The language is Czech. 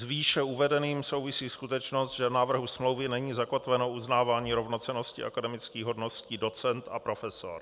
S výše uvedeným souvisí skutečnost, že v návrhu smlouvy není zakotveno uznávání rovnocennosti akademických hodností docent a profesor.